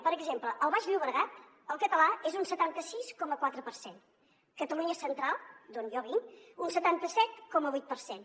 per exemple al baix llobregat el català és un setanta sis coma quatre per cent catalunya central d’on jo vinc un setanta set coma vuit per cent